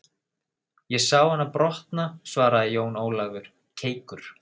Ég sá hana brotna, svaraði Jón Ólafur keikur.